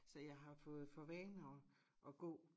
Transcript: Så jeg har fået for vane at at gå